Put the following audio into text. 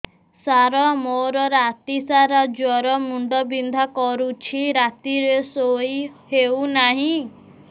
ସାର ମୋର ରାତି ସାରା ଜ୍ଵର ମୁଣ୍ଡ ବିନ୍ଧା କରୁଛି ରାତିରେ ଶୋଇ ହେଉ ନାହିଁ